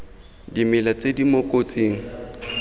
dimela tse di mo kotsing